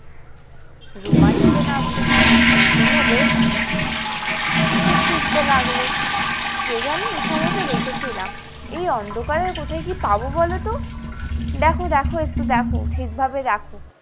রুমা নিচে নামলো নিচে নেমে সে খুঁজতে লাগলো কে জানি এখানেই তো রেখে ছিলাম এই অন্ধকারে কোথায় কি পাবো বলতো দ্যাখো দ্যাখো একটু দ্যাখো ঠিক ভাবে দ্যাখো।